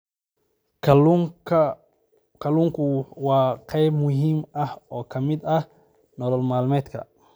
Kalluunku waa qayb muhiim ah oo ka mid ah nolol maalmeedka.